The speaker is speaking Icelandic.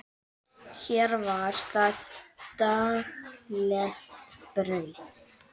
Hér var það daglegt brauð.